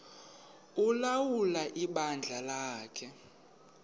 ulawula ibandla lakhe